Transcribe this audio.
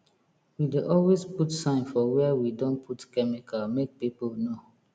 we dey always put sign for where we don put chemical make people know